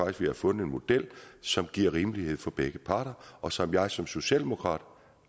at vi har fundet en model som giver rimelighed for begge parter og som jeg som socialdemokrat